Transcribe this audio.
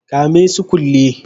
Kame su kulle